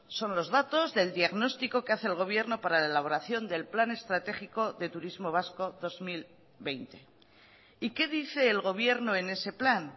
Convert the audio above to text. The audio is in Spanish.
son los datos del diagnóstico que hace el gobierno para la elaboración del plan estratégico de turismo vasco dos mil veinte y qué dice el gobierno en ese plan